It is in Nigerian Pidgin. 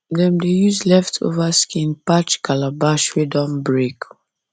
dem dey use leftover skin patch calabash wey don break